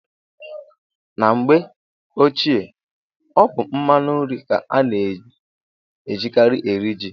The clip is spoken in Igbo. Na mgbe ochie, ọ bụ mmanụ nri ka a na-ejikarị eri ji.